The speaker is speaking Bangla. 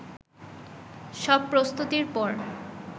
সব প্রস্তুতির পর